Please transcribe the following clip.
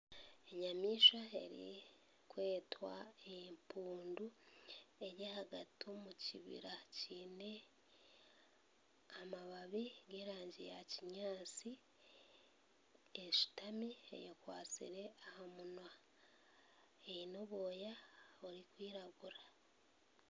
Enyamaishwa erikwetwa empundu eri ahagati omu kibira kiine amababi g'erangi ya kinyaatsi. Eshutami ekwatsire aha munwa eine obwoya burikwiragura.